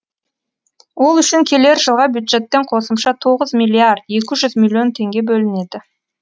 ол үшін келер жылға бюджеттен қосымша тоғыз миллиард екі жүз миллион теңге бөлінеді